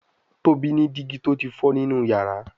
Tóbi ní digi tó tí fọ nínú iyàrá.